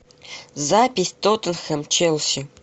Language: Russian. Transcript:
запись тоттенхэм челси